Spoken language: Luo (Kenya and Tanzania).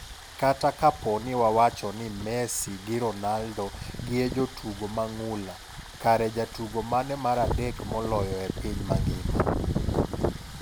Kata kapo ni wawacho ni Messi gi Ronaldo gi e jotugo mang'ula. Kare jatugo mane maradek moloyo e piny mangima?